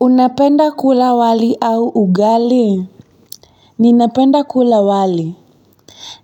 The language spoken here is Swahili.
Unapenda kula wali au ugali? Ninapenda kula wali.